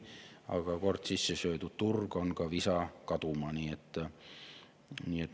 Aga kord sisse söödud turg on visa kaduma.